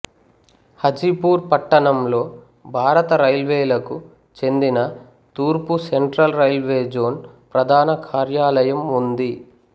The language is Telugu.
హాజీపూర్ పట్టణంలో భారత రైల్వేలకు చెందిన తూర్పు సెంట్రల్ రైల్వే జోన్ ప్రధాన కార్యాలయం ఉంది